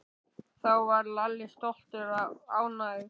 Þá varð Lalli stoltur og ánægður.